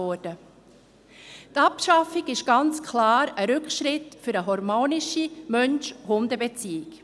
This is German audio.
Die Abschaffung war ganz klar ein Rückschritt für eine harmonische Mensch-Hunde-Beziehung.